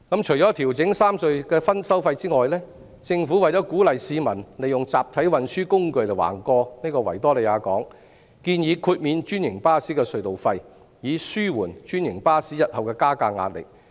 除了調整三隧的收費外，政府為鼓勵市民利用集體運輸工具橫過維多利亞港，建議豁免專營巴士的隧道費，以紓緩專營巴士日後的加價壓力。